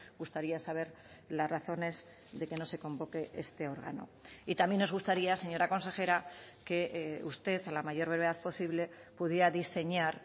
gustaría saber las razones de que no se convoque este órgano y también nos gustaría señora consejera que usted a la mayor brevedad posible pudiera diseñar